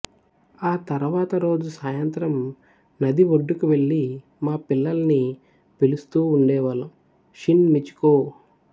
ఆ తరువాత రోజు సాయంత్రం నది ఒడ్డుకు వెళ్ళి మా పిల్లల్ని పిలుస్తూ ఉండేవాళ్ళం షిన్ మిచికో